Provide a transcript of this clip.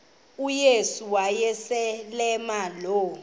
uyesu wayeselemazi lo